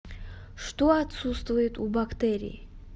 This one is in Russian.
что отсутствует у бактерий